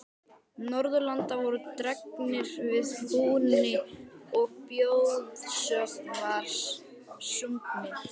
Norðurlanda voru dregnir að húni og þjóðsöngvar sungnir.